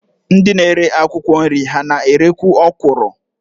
Ndị na-ere akwụkwọ nri ha na-erekwu ọkwụrụ?